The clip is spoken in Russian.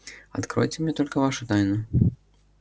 откройте мне только вашу тайну